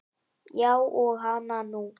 Já og hana nú.